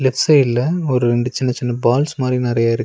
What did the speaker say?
Left சைடுல ஒரு ரெண்டு சின்ன சின்ன பால்ஸ் மாரி நெறையா இருக்கு.